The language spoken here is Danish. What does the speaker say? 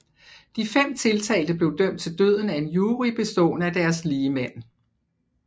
De fem tiltalte blev dømt til døden af en jury bestående af deres ligemænd